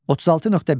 36.1.